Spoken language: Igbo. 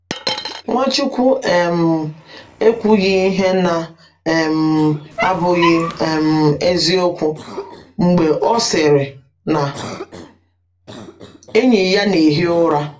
Nwachukwu um ekwughị ihe na - um abụghị um eziokwu mgbe ọ sịrị na enyi ya na - ehi ụra.